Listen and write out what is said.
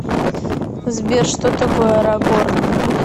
сбер что такое арагорн